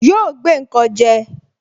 Yóò gbé nkan je